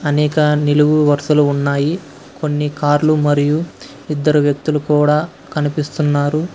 అనేక నిలువు వరుసలు ఉన్నాయి కొన్ని కార్లు మరియు ఇద్దరు వ్యక్తులు కూడా కనిపిస్తున్నారు.